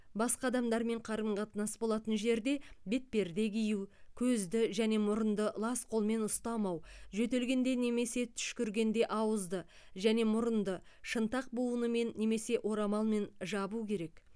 басқа адамдармен қарым қатынас болатын жерде бетперде кию көзді және мұрынды лас қолмен ұстамау жөтелгенде немесе түшкіргенде ауызды және мұрынды шынтақ буынымен немесе орамалмен жабу керек